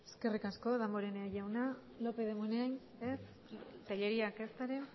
eskerrik asko damborenea jauna lópez de munain ez telleríak ezta ere